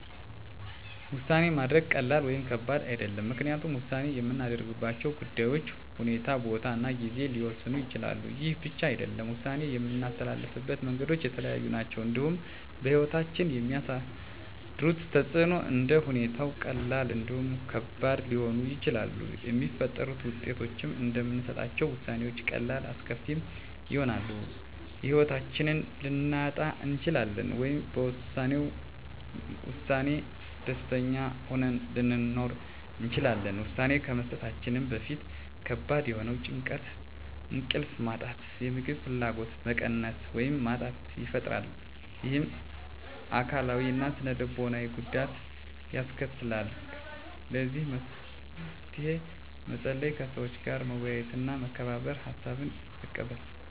ውሳኔ ማድረግ ቀላል ወይም ከባድ አይደለም ምክንያቱም ውሳኔ የምናደርግባቸው ጉዳዮች ሁኔታ ቦታ እና ጊዜ ሊወሰኑት ይችላሉ ይህ ብቻ አይደለም ውሳኔ የምናስተላልፍበት መንገዶች የተለያዩ ናቸው እንዲሁም በህይወታችን የሚያሳድሩት ተፅእኖም እንደ ሁኔታዎች ቀላልም እንዲሁም ከባድ ሊሆኑ ይችላሉ የሚፈጥሩት ውጤቶችም እንደምንሰጣቸው ውሳኔዎች ቀላልም አስከፊም ይሆናል የህይወታችንን ልናጣ እንችላለን ወይም በወሰነው ውሳኔ ደስተኛ ሆነን ልንኖር እንችላለን ውሳኔ ከመስጠታችን በፊት ከባድ የሆነ ጭንቀት እንቅልፍ ማጣት የምግብ ፍላጎት መቀነስ ወይም ማጣት ይፈጥራል ይህም አካላዊ እና ስነ ልቦናዊ ጉዳት ያስከትላል ለዚህ መፍትሄ መፀለይ ከሰዎች ጋር መወያየትና መመካከር ሀሳብን መቀበል